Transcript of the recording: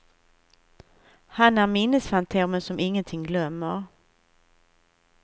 Han är minnesfantomen som ingenting glömmer.